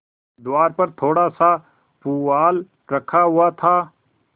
द्वार पर थोड़ासा पुआल रखा हुआ था